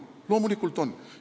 Muidugi nad on.